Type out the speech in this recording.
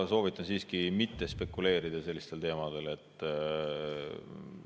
Ma soovitan siiski mitte spekuleerida sellistel teemadel.